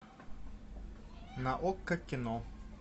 на окко кино